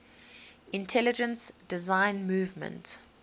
intelligent design movement